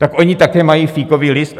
Tak oni také mají fíkový list?